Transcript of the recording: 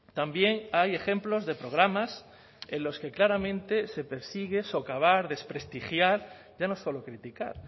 también hay ejemplos de programas en los que claramente se persigue socavar desprestigiar ya no es solo criticar